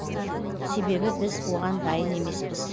себебі біз оған дайын емеспіз